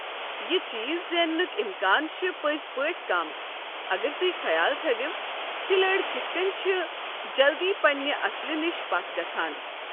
یہ چیز زیننٕکۍ اِمکان چھ پٔزۍ پٲٹھۍ کم اگر تُہۍ خیال تھٲوِو کھلٲڑۍ کتھ کٔنۍ چِھ جلدی پنٛنہِ اصلہٕ نِش پتھ گژھان۔